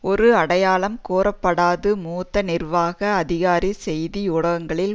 ஒரு அடையாளம் கூறப்படாது மூத்த நிர்வாக அதிகாரி செய்தி ஊடகங்களில்